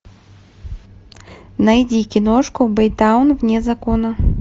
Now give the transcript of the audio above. найди киношку бэйтаун вне закона